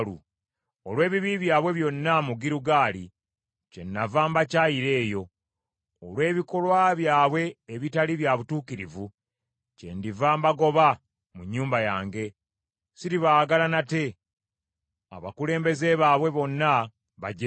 Olw’ebibi byabwe byonna mu Girugaali, kyennava mbakyayira eyo. Olw’ebikolwa byabwe ebitali bya butuukirivu, kyendiva mbagoba mu nnyumba yange. Siribaagala nate; abakulembeze baabwe bonna bajeemu.